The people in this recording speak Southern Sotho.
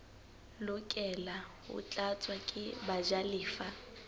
lokela ho tlatswa ke bajalefa